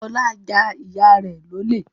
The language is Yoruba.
Ọlá ja ìyá rẹ̀ lólè